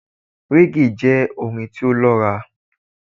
reggae jẹ orin ti o lọra